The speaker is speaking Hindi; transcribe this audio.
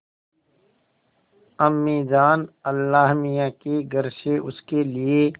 अम्मीजान अल्लाहमियाँ के घर से उसके लिए